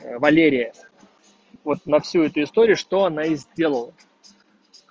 валерия вот на всю эту историю что она и сделала